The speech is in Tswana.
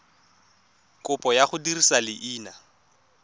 kopo ya go dirisa leina